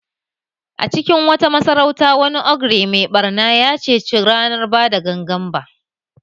A cikin wata masarauta, wani ogre mai ɓarna ya ceci ranar ba da gangan ba